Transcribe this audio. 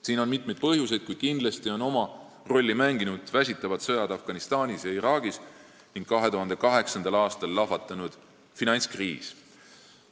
Siin on mitu põhjust, kuid kindlasti on oma rolli mänginud väsitavad sõjad Afganistanis ja Iraagis ning 2008. aastal lahvatanud finantskriis.